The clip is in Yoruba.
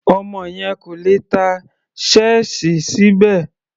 Ọmọ yẹn kò lè tá ṣẹ́ẹ̀sì síbẹ̀.